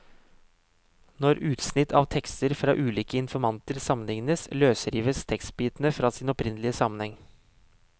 Når utsnitt av tekster fra ulike informanter sammenlignes, løsrives tekstbitene fra sin opprinnelige sammenheng.